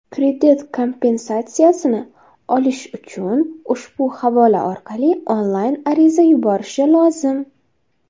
kredit kompensatsiyasini olish uchun ushbu havola orqali onlayn ariza yuborishi lozim.